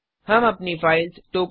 हम अपनी file tokens